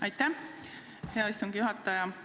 Aitäh, hea istungi juhataja!